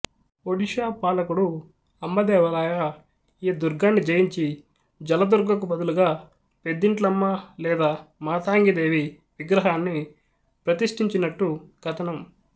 ఒడిషా పాలకుడు అంబదేవరాయ ఈ దుర్గాన్ని జయించి జలదుర్గకు బదులుగా పెద్దింట్లమ్మ లేదా మాతంగిదేవి విగ్రహాన్ని ప్రతిష్టించినట్టు కథనం